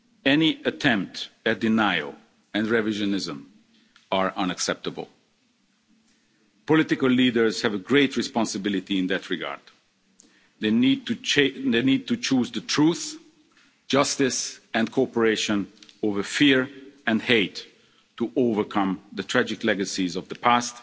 Any attempt at denial and revisionism are unacceptable. Political leaders have a great responsibility in that regard. They need to choose the truth, justice and cooperation over fear and hate to overcome the tragic legacies of the